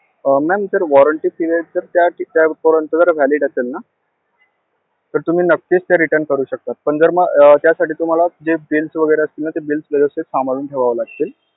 अं ma'am जर warranty period त्यापर्यंत जर valid असेल ना, तर तुम्ही नक्कीच ते retun करू शकता, पण जर मग अं त्यासाठी तुम्हांला ते bills वगैरे असतात ना ते bills व्यवस्थित सांभाळून ठेवावे लागतील.